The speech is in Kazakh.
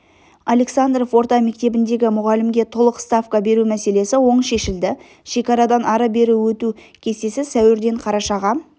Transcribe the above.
александров орта мектебіндегі мұғалімге толық ставка беру мәселесі оң шешілді шекарадан ары-бері өту кестесі сәуірден қарашаға